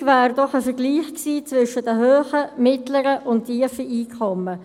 Wichtig wäre doch ein Vergleich gewesen zwischen den hohen, den mittleren und den tiefen Einkommen.